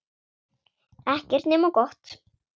Ekkert nema gott.